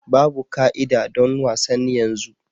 Babu ka'ida don wasan yanzu.